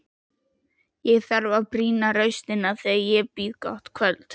Ég þarf að brýna raustina þegar ég býð gott kvöld.